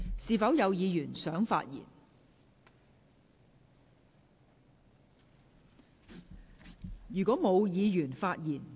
是否有議員想發言？